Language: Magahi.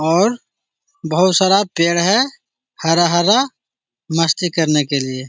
और बहुत सारा पेड़ है हरा-हरा मस्ती करने के लिए।